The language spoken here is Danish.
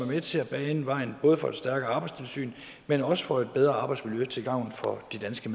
med til at bane vejen både for et stærkere arbejdstilsyn men også for et bedre arbejdsmiljø til gavn for de danske